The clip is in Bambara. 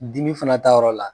Dimi fana ta yɔrɔ la